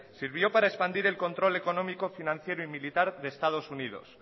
sirvió para expandir el control económico financiero y militar de estados unidos